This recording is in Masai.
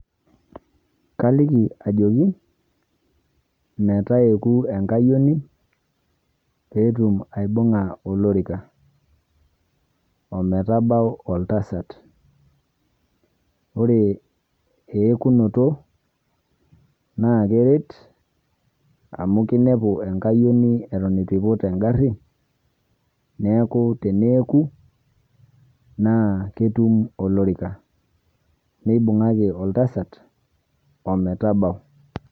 Kaliki ajoki, metayoku enkayioni, petum aibung'a olorika. Ometabau oltasat. Ore eekunoto, naa keret, amu kinepu enkayioni eton itu iput egarri, neeku teneeku, naa ketum olorika. Nibung'aki oltasat, ometabau.